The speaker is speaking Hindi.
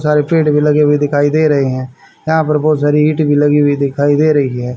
सारे पेड़ भी लगे हुए दिखाई दे रहे हैं यहां पर बहोत सारी इट भी लगी हुई दिखाई दे रही है।